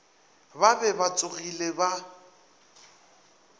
ba be ba tsogile ba